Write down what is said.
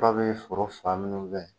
Dow bɛ foro saloli mun kɛ.